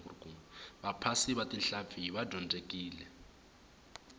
vaphasi va tihlampfi va dyondzekile